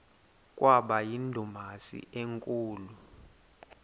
kwaba yindumasi enkulu